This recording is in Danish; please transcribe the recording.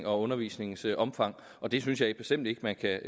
og undervisningens omfang og det synes jeg bestemt ikke man kan